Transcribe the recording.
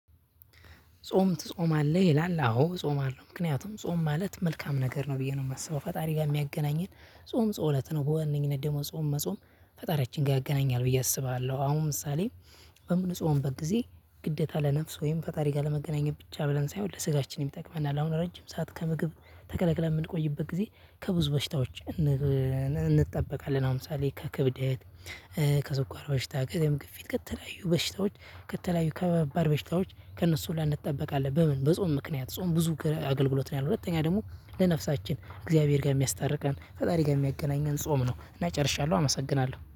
ጾም ትጾማለህ ይላል አዎ ጾም አለው ምክንያቱም ጾም ማለት መልካም ነገር ነው ብዬ ነው የማስበው ፈጣሪ ጋር የሚያገናኝን ጾም ጾሎት ነው። በዋነኝነት ደግሞ ጾም መጾም ፈጣሪያችን ጋር ያገናኛል ብዬ አስባለሁ። አሁን ምሳሌ በምንፆምበት ጊዜ ግደታ ለነፍስ ወይም ፈጣሪ ጋር ለመገናኘት ብቻ ብለን ሳይሆን ለስጋችን ይጠቅመናል። አሁን ረጅም ሰዓት ከምግብ ተከልክለህ የምንቆይበት ጊዜ ከብዙ በሽታዎች። እንጠበቃለን አሁን ምሳሌ ከክብደት ከሱኳር በሽታ ከደም ግፊት ከተለያዩ በሽታዎች ከተለያዩ ከባባድ በሽታዎች ከእነሱ ሁላ እንጠበቃለን። አለ በምን በጾም ምክንያት ጾም ብዙ አገልግሎት ነው ያለው። ሁለተኛ ደግሞ ለነፍሳችን ከእግዚአብሄር ጋር የሚያስታርቀን ፈጣሪ ጋር የሚያገናኘን ጾም ነው። እና ጨርሻለሁ አመሰግናለሁ።